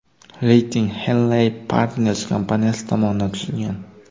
Reyting Henley & Partners kompaniyasi tomonidan tuzilgan.